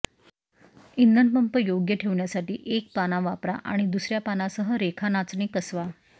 इंधन पंप योग्य ठेवण्यासाठी एक पाना वापरा आणि दुसर्या पानासह रेखा नाचणी कसवा